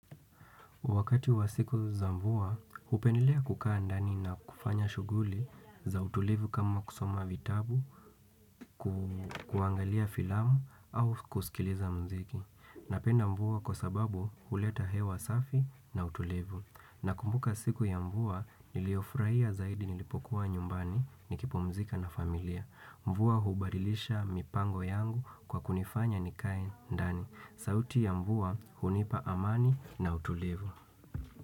Wakati wa siku za mvua, hupendelea kukaa ndani na kufanya shughuli za utulivu kama kusoma vitabu, kuangalia filamu au kusikiliza mziki. Napenda mvua kwa sababu huleta hewa safi na utulivu. Nakumbuka siku ya mvua, niliyofurahia zaidi nilipokuwa nyumbani nikipumzika na familia. Mvua hubadilisha mipango yangu kwa kunifanya nikae ndani. Sauti ya mvua hunipa amani na utulivu.